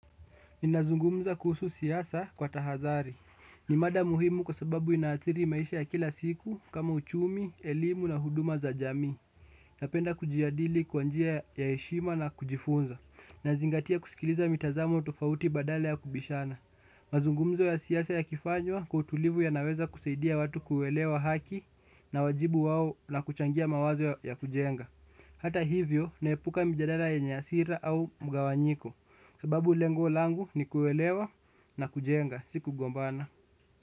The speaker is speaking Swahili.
Ninazungumza kuhusu siasa kwa tahadhari. Ni mada muhimu kwa sababu inaadhiri maisha ya kila siku kama uchumi, elimu na huduma za jamii. Napenda kujadili kwa njia ya heshima na kujifunza. Nazingatia kusikiliza mitazamo wa tofauti badala ya kubishana. Mazungumzo ya siasa yakifanywa kwa utulivu yanaweza kusaidia watu kuelewa haki na wajibu wao na kuchangia mawazo ya kujenga. Hata hivyo naepuka mjadala yenye hasira au mgawanyiko sababu lengo langu ni kuelewa na kujenga si kugombana.